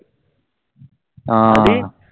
ആഹ്